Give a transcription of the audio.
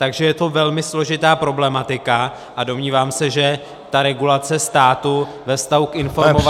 Takže je to velmi složitá problematika a domnívám se, že ta regulace státu ve vztahu k informovanosti -